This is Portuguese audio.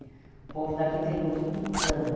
O povo daqui tem muito tutano.